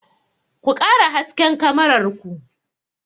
Ku ƙara hasken kamarar ku!